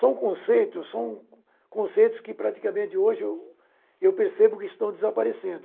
São conceitos são conceitos que praticamente hoje eu percebo que estão desaparecendo.